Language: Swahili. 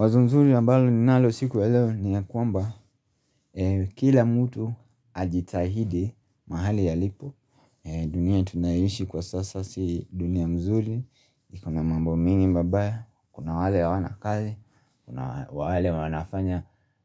Wazo nzuri ambalo ninalo siku ya leo ni ya kwamba kila mtu ajitahidi mahali alipo dunia tunayoishi kwa sasa si dunia mzuri ikona mambo mengi mabaya, kuna wale hawana kazi, kuna